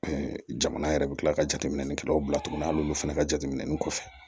jamana yɛrɛ bɛ kila ka jateminɛ kɛlɛw bila tuguni hali olu fana ka jateminɛ kɔfɛ